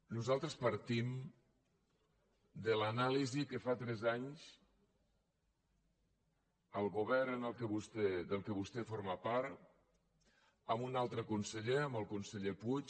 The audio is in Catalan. nosaltres partim de l’anàlisi que fa tres anys el govern del qual vostè forma part amb un altre conseller el conseller puig